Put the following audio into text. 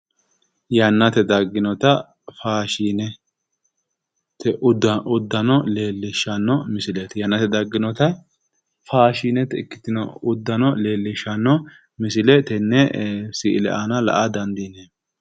Yannate dagginota faashinete uddano misileeti. Yannate dagginota faashinete ikkitino uddano leellishshanno misile tenne si'ile aana la'a dandiineemmo.